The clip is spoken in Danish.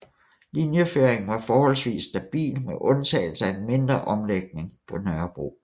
Linjeføringen var forholdsvis stabil med undtagelse af en mindre omlægning på Nørrebro